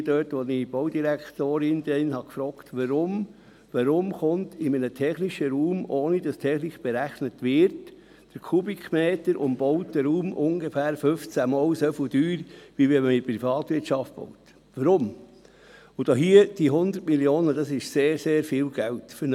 Ich fragte damals die Baudirektorin, weshalb in einem technischen Raum, ohne dass die Technik berechnet wird, der Kubikmeter pro umgebauten Raum ungefähr 15-mal so teuer ist, als wenn die Privatwirtschaft diesen bauen würde.